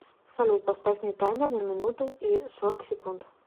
салют поставь мне таймер на минуту и сорок секунд